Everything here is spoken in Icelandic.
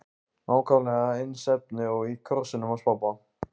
Nákvæmlega eins efni og í krossinum hans pabba!